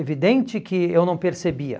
Evidente que eu não percebia.